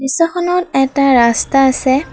এটা ৰাস্তা আছে।